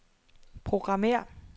programmér